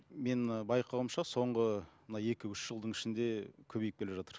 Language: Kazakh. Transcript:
мен і байқауымша соңғы мына екі үш жылдың ішінде көбейіп келе жатыр